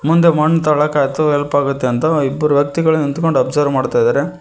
ಮುಂದೆ ಮಣ್ಣು ತೊಡಕ್ಕೆ ಆಯ್ತು ಹೆಲ್ಪ್ ಆಗುತ್ತೆ ಅಂತ ಇಬ್ಬರು ವ್ಯಕ್ತಿಗಳು ನಿಂತ್ಕೊಂಡು ಅಬ್ಸರ್ವ್ ಮಾಡ್ತಿದಾರೆ.